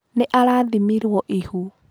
Nĩ arathĩmĩirwo ihu.